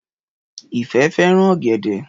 Ìfẹ́ fẹ́ràn ọ̀gẹ̀dẹ̀